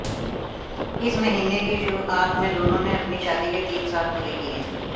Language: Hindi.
इस महीने की शुरुआत में दोनों ने अपनी शादी के तीन साल पूरे किए